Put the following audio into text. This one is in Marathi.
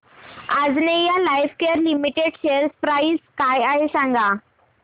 Anjaneya lifecare limited share price काय आहे सांगा